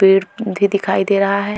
पीड़ भी दिखाई दे रहा है।